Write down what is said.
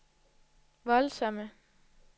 voldsomme